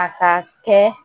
A ka kɛ